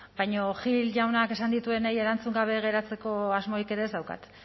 baina gil jaunak esan dituenei erantzun gabe geratzeko asmorik ere ez daukat